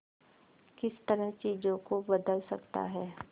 किस तरह चीजों को बदल सकता है